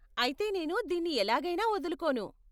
అయితే నేను దీన్ని ఎలాగైనా వదులుకోను.